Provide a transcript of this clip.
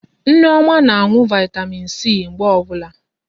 Nneoma na anụ Vị́tamị́n C mgbe ọbụla.